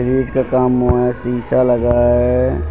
का काम हुआ है शीशा लगा है।